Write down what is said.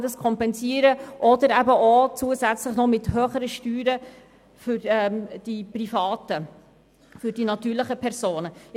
Als Konsequenz daraus werden die Steuern der natürlichen Personen erhöht.